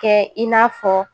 Kɛ i n'a fɔ